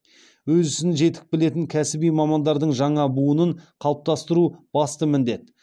өз ісін жетік білетін кәсіби мамандардың жаңа буынын қалыптастыру басты міндет